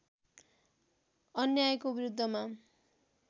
अन्यायको विरुद्धमा